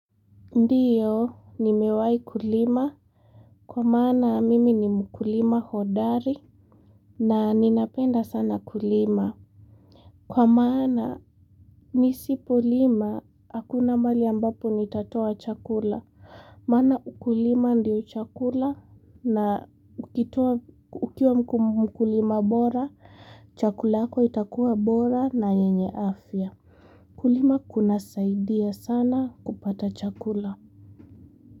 Ndiyo nimewai kulima kwa maana mimi ni mkulima hodari na ninapenda sana kulima kwa maana nisipolima hakuna mahali ambapo nitatoa chakula maana ukulima ndio chakula na ukitoa ukiwa mkum mkulima bora chakula yako itakuwa bora na yenye afya kulima kunasaidia sana kupata chakula.